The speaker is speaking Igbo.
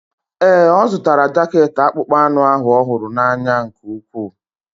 Ee, ọ zụtara jaket akpụkpọ anụ ahụ ọ hụrụ n'anya nke ukwuu.